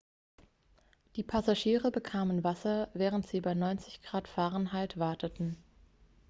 die passagiere bekamen wasser während sie bei 90 °f 32 °c warteten.x